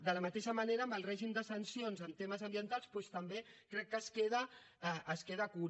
de la mateixa manera en el règim de sancions en temes ambientals doncs també crec que es queda curt